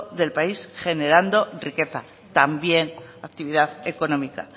del país generando riqueza también actividad económica